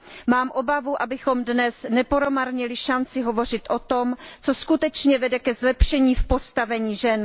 Mám obavu, abychom dnes nepromarnili šanci hovořit o tom, co skutečně vede ke zlepšení postavení žen.